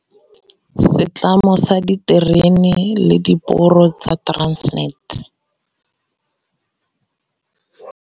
Setlamo sa Diterene le Diporo sa Transnet.